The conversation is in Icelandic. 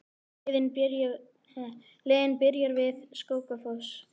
Leiðin byrjar við Skógafoss.